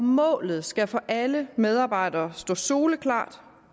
målet skal for alle medarbejdere stå soleklart